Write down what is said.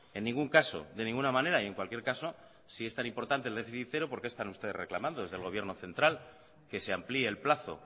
en ningún caso de ninguna manera y en cualquier caso si es tan importante el déficit cero por qué están ustedes reclamando desde el gobierno central que se amplíe el plazo